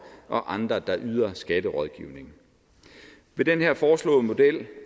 og andre der yder skatterådgivning i den her foreslåede model